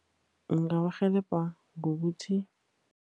Ngingabarhelebha ngokuthi.